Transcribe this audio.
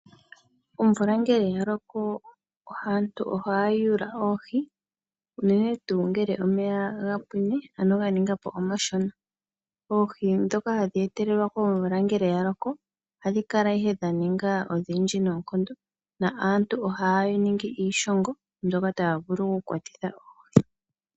Omvula ngele yaloko aantu ohaya yuula oohi unene tuu ngele omeya gapwine ano ga ninga po omashona. Oohi dhoka hadhi etelelwa komvula ngele yaloko ohadhi kala ihe dhaninga odhindji nonkondo. Aantu ohaya ningi iishongo mbyoka yavulu okukwatitha .